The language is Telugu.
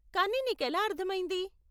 కానీ నీకెలా అర్ధమైంది?